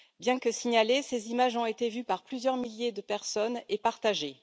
Bien que signalées, ces images ont été vues par plusieurs milliers de personnes et partagées.